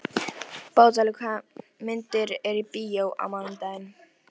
Bótólfur, hvaða myndir eru í bíó á mánudaginn?